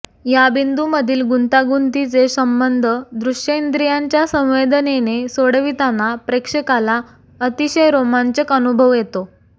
या बिन्दूमधील गुंतागुंतीचे संबंध दृश्यइंद्रियांच्या संवेदनेने सोडविताना प्रेक्षकाला अतिशय रोमांचक अनुभव येतो